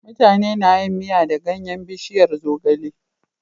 Mutane na yin Miya da ganyan bishiyar zogale